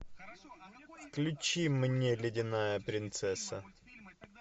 включи мне ледяная принцесса